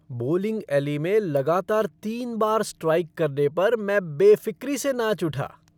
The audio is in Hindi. बोलिंग ऐली में लगातार तीन बार स्ट्राइक करने पर मैं बेफ़िक्री से नाच उठा।